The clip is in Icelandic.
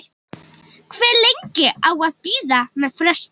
Hve lengi á að bíða með frestun?